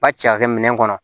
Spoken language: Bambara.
Ba ci ka kɛ minɛn kɔnɔ